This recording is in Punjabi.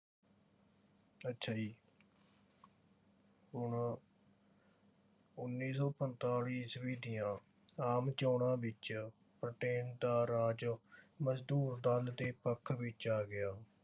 ਅੱਛਾ ਜੀ। ਹੁਣ ਉੱਨੀ ਸੌ ਪੰਜਤਾਲੀ ਈਸਵੀ ਦੀਆਂ ਆਮ ਚੋਣਾਂ ਵਿਚ ਬਿਟ੍ਰੇਨ ਦਾ ਰਾਜ ਮਜ਼ਦੂਰ ਦਲ ਦੇ ਪੱਖ ਵਿਚ ਆ ਗਿਆ।